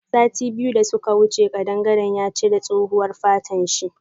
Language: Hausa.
Sati biyu da suka wuce kadangaren ya cire tsohuwan fatan shi.